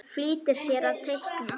Flýtir sér að teikna.